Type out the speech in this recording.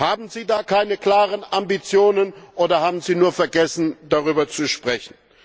Haben Sie da keine klaren Ambitionen, oder haben Sie nur vergessen, darüber zu sprechen?